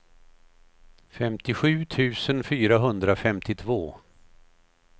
femtiosju tusen fyrahundrafemtiotvå